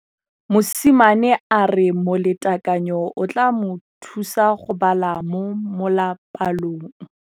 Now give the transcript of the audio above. Mosimane a re molatekanyô o tla mo thusa go bala mo molapalong.